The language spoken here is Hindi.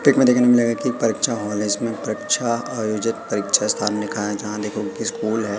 की परीक्षा हॉल है इसमे परीक्षा आयोजित परीक्षा स्थान लिखा है जहां देखो स्कूल है।